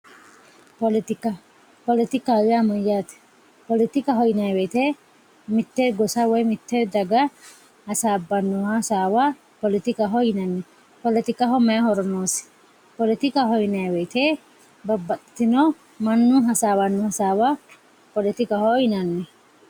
Politika politikaho ya mayate politikaho yinayi woyite mitte gossa woyi mitte daga hasabano hasawa politikaho yinanni politikaho mayi horo nosi politikaho yinayi woyite babaxitino manu hasawano hasawa politikaho yinanni